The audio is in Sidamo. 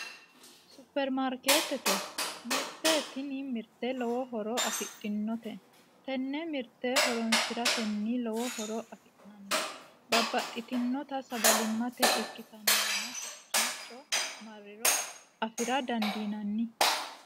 Supermarkeetete mirte tini mirte lowo horo afidhinote tenne mirte horonsiratenni lowo horo afi'nanni babbaxxitinota sagalimmate ikkitannoreno hakkiicho marriro afira dandiinanni